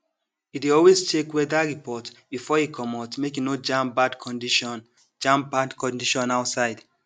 e dey always check weather report before e comot make e no jam bad condition jam bad condition outside